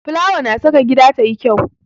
Fulawa na saka gida tayi kyau.